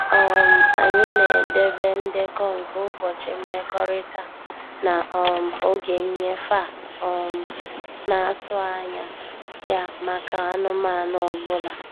um Anyị na-edebe ndekọ nke ụbọchị mmekọrịta na um oge nnyefe a um na-atụ anya ya maka anụmanụ ọ bụla